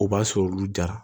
O b'a sɔrɔ olu jara